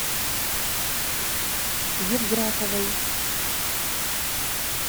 евграфовой